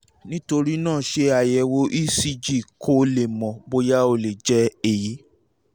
nítorí náà ṣe àyẹ̀wò ecg kó o lè mọ̀ bóyá ó lè jẹ́ èyí